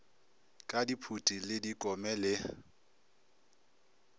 ka diphuti le dikome le